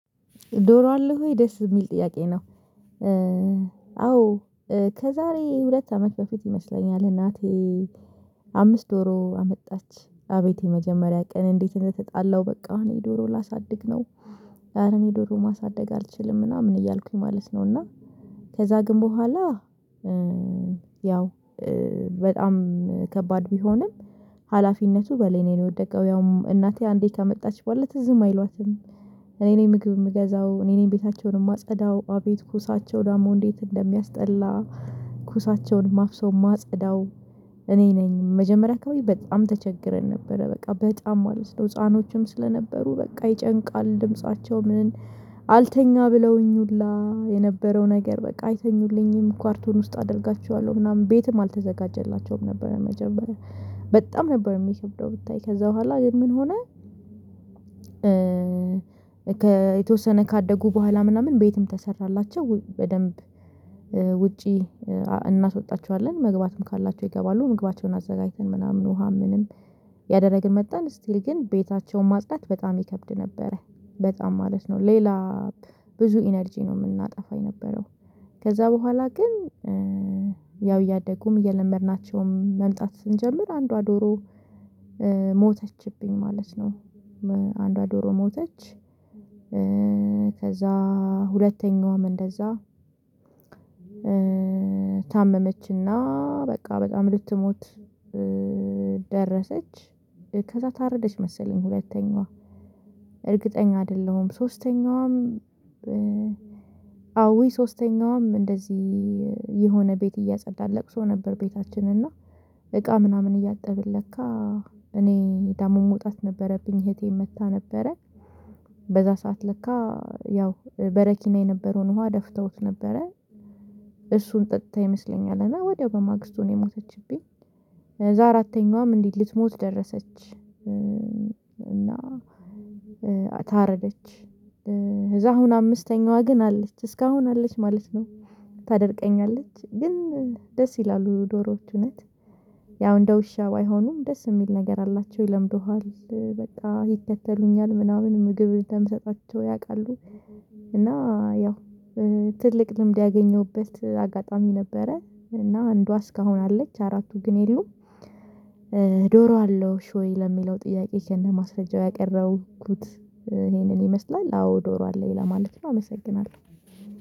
ዶሮ አለው ወይ ደስ የሚል ጥያቄ ነው አዎ ከዛሬ ሁለት አመት በፊት ይመስለኛል እናቴ አምስት ዶሮ አመጣች አቤቴ የመጀመሪያ ቀን እንዴት ነው የተጣለው በቃ እኔ ዶሮ ላሳድግ ነው እኔ ዶሮ ማሳደግ አልችልም ምናምን እያልኩኝ ማለት ነው እና ከዛ ግን በኋላ ያው በጣም ከባድ ቢሆንም ሀላፊነቱ በእኔ ነው የወደቀው ያውም እናቴ አንዴ ካመጣች በኋላ ትዝም አይሏትም እኔን ምግብ የምገዛው እኔን ቤታቸውን የማጸዳው አቤት ኩሳቸው ዳሞ እንዴት እንደሚያስጠላ ኩሳቸውን ማፍሰው ማጸዳው እኔ ነኝ መጀመሪያ ከሆነ በጣም ተቸግረን ነበረ በቃ በጣም ማለት ነው ህፃኖችም ስለነበሩ በቃ ይጨንቃል ድምፃቸው ምን አልተኛ ብለውኝ ሁላ የነበረው ነገር በቃ አይተኙልኝም ኳርቶን ውስጥ አደርጋቸዋለሁ ምናምን ቤትም አልተዘጋጀላቸውም ነበረ መጀመሪያ በጣም ነበር የሚሸተው ብታይ ከዛ በኋላ ግን ምን ሆነ የተወሰነ ካደጉ በኋላ ምናምን ቤትም ተሰራላቸው በደንብ ውጪ እናስወጣቸዋለን መግባትም ካላቸው ይገባሉ ምግባቸውን አዘጋጅተን ምናምን ውሃም ምንም ያደረግን መጣን ስቲል ግን ቤታቸውን ማጽዳት በጣም ይከብድ ነበረ በጣም ማለት ነው ሌላ ብዙ ኢነርጂ ነው የምናጠፋ የነበረው ከዛ በኋላ ግን ያው እያደጉም እየለመድናቸውም መምጣት ስንጀምር አንዷ ዶሮ ሞተችብኝ ማለት ነው አንዷ ዶሮ ሞተች ከዛ ሁለተኛዋም እንደዛ ታመመችና በቃ በጣም ልትሞት ደረሰች ከዛ ታረደች መሰለኝ ሁለተኛዋ እርግጠኛ አይደለሁም ሶስተኛውም አዎ ሶስተኛውም እንደዚህ የሆነ ቤት እያጸዳን ለቅሶ ነበር ቤታችን እና እቃ ምናምን እያጠብን ለካ እኔ ዳሞ መውጣት ነበረብኝ እህቴ መታ ነበረ በዛ ሰዓት ለካ ያው በረኪና የነበረውን ውሃ ደፍተውት ነበረ እሱን ጠጥታ ይመስለኛል እና ወዲያው በማግስቱ ነው የሞተችብኝ ከዛ አራተኛዋም እንዴ ልትሞት ደረሰች እና ታረደች እዛ አሁን አምስተኛዋ ግን አለች እስካሁን አለች ማለት ነው ታደርቀኛለች ግን ደስ ይላሉ ዶሮዎች እውነት ያው እንደ ውሻ ባይሆኑም ደስ የሚል ነገር አላቸው ይለምዱሃል በጣም ይከተሉኛል ምናምን ምግብ እንደምሰጣቸው ያውቃሉ፤ እና ያው ትልቅ ልምድ ያገኘሁበት አጋጣሚ ነበረ እና አንዷ እስካሁን አለች አራቱ ግን የሉም ዶሮ አለሽ ወይ ለሚለው ጥያቄ ከነማስረጀው ያቀረቡት ይሄንን ይመስላል አዎ ዶሮ አለኝ ለማለት ነው አመሰግናለሁ።